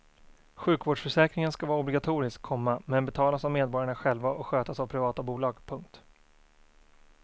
Sjukvårdsförsäkringen ska vara obligatorisk, komma men betalas av medborgarna själva och skötas av privata bolag. punkt